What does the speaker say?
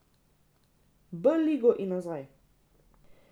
B ligo in nazaj.